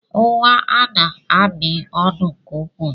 Nwa Anna na-amị ọnụ nke ukwuu.